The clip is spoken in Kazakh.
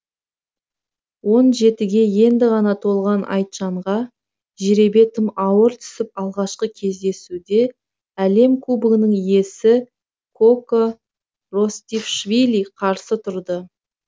он жетіге енді ғана толған айтжанға жеребе тым ауыр түсіп алғашқы кездесуде әлем кубогының иесі коко ростишвили қарсы тұрды